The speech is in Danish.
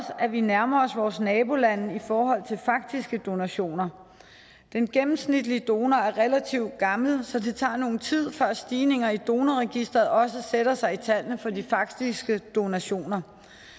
at vi nærmer os vores nabolande i forhold til faktiske donationer den gennemsnitlige donor er relativt gammel så det tager noget tid før stigninger i donorregistret også sætter sig i tallene for de faktiske donationer